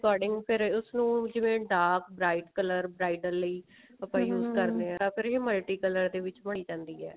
according ਫ਼ੇਰ ਉਸਨੂੰ ਜਿਵੇਂ dark bright color bridle ਲਈ use ਕਰਦੇ ਹਾਂ ਤਾਂ ਫ਼ੇਰ ਇਹ multi color ਦੇ ਵਿੱਚ ਬਣੀ ਜਾਂਦੀ ਹੈ